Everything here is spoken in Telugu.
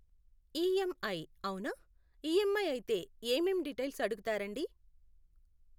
ఈఏంఐ అవునా, ఈఎమ్ఐ అయితే ఏమేం డీటైల్స్ అడుగుతారండి?